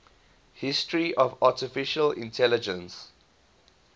history of artificial intelligence